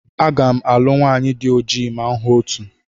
Aga m alụ nwanyị di ojii ma m hụ otu.